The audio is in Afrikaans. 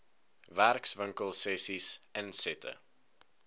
werkswinkel sessies insette